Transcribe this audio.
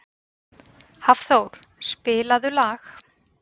Hafþór, spilaðu lag.